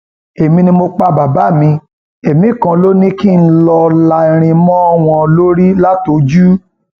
èmi ni mo pa bàbá mi èmi kan lọ ni kí n lọọ la irin mọ wọn lórí látojú